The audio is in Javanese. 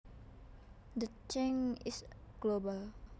The change is global